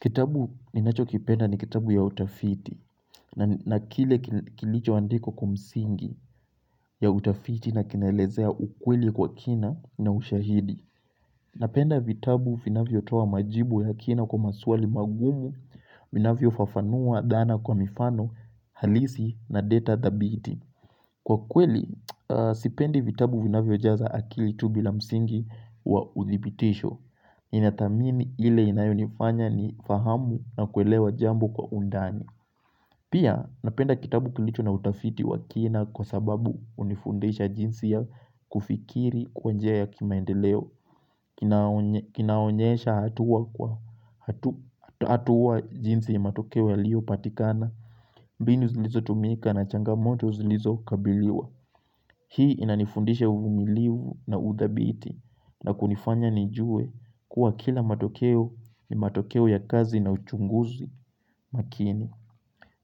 Kitabu ninacho kipenda ni kitabu ya utafiti na kile kilicho andikwa kwa msingi ya utafiti na kinaelezea ukweli kwa kina na ushahidi. Napenda vitabu vinavyo toa majibu ya kina kwa maswali magumu vinafyo fafanua dhana kwa mifano halisi na data thabiti. Kwa kweli, sipendi vitabu vinavyo jaza akili tu bila msingi wa uthibitisho. Ninathamini ile inayonifanya ni fahamu na kuelewa jambo kwa undani. Pia, napenda kitabu kilicho na utafiti wa kina kwa sababu hunifundisha jinsi ya kufikiria kwa njia ya kimaendeleo. Kinaonyesha hatua kwa hatua jinsi ya matokeo yaliopatikana. Mbinu zilizo tumika na changamoto zilizo kabiliwa. Hii inanifundisha uvumiliu na udhabiti na kunifanya nijue kuwa kila matokeo ni matokeo ya kazi na uchunguzi makini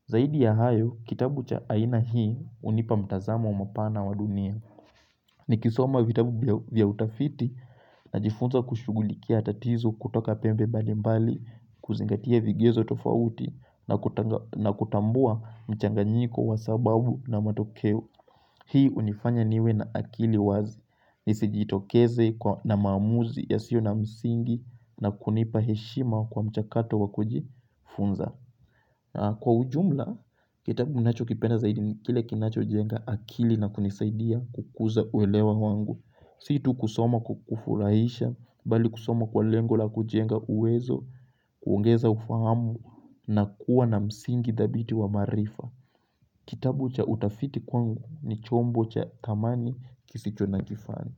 Zaidi ya hayo kitabu cha aina hii hunipa mtazamo mpana wa dunia Nikisoma vitabu vya utafiti najifunza kushughulikia tatizo kutoka pembe mbali mbali kuzingatia vigezo tofauti na kutambua mchanganyiko wa sababu na matokeo Hii hunifanya niwe na akili wazi nisijitokeze na maamuzi ya sio na msingi na kunipa heshima kwa mchakato wakujifunza Kwa ujumla kitabu ninachokipenda zaidi kile kinacho jenga akili na kunisaidia kukuza uelewa wangu Si tu kusoma kukufurahisha bali kusoma kwa lengo la kujenga uwezo kuongeza ufahamu na kuwa na msingi dhabiti wa maarifa Kitabu cha utafiti kwangu ni chombo cha thamani kisicho na kifani.